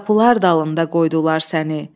Qapılar dalında qoydular səni.